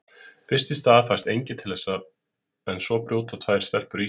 Fyrst í stað fæst enginn til þess en svo brjóta tvær stelpur ísinn.